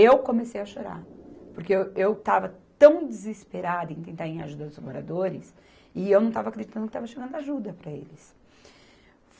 Eu comecei a chorar, porque eu, eu estava tão desesperada em tentar em ajuda os moradores, e eu não estava acreditando que estava chegando ajuda para eles.